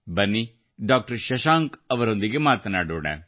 ಬನ್ನಿ ಡಾಕ್ಟರ್ ಶಶಾಂಕ್ ಅವರೊಂದಿಗೆ ಮಾತನಾಡೋಣ